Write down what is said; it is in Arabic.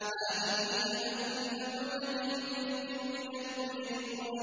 هَٰذِهِ جَهَنَّمُ الَّتِي يُكَذِّبُ بِهَا الْمُجْرِمُونَ